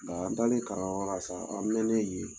Nga an taalen kalanyɔrɔ sa, an mɛnnen yen